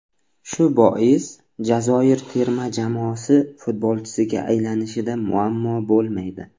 Shu bois Jazoir terma jamoasi futbolchisiga aylanishida muammo bo‘lmaydi.